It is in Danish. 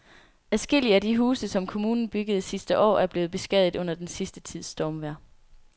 Adskillige af de huse, som kommunen byggede sidste år, er blevet beskadiget under den sidste tids stormvejr.